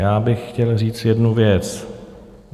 Já bych chtěl říct jednu věc.